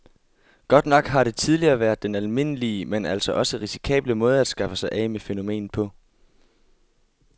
Godt nok har det tidligere været den almindelige, men altså også risikable måde at skaffe sig af med fænomenet på.